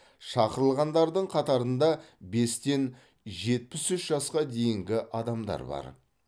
шақырылғандардың қатарында бестен жетпіс үш жасқа дейінгі адамдар бар